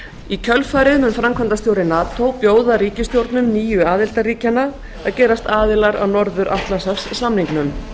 í kjölfarið mun framkvæmdastjóri nato bjóða ríkisstjórnum nýju aðildarríkjanna að gerast aðilar að norður atlantshafssamningnum